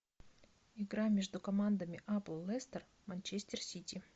игра между командами апл лестер манчестер сити